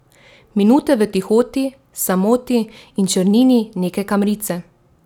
Minute v tihoti, samoti in črnini neke kamrice?